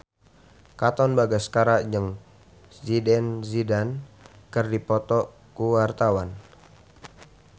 Katon Bagaskara jeung Zidane Zidane keur dipoto ku wartawan